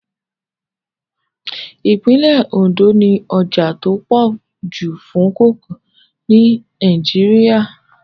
Ìpínlẹ̀ Ondo ní ọjà tó pọ̀ jù fún kókà ní Nàìjíríà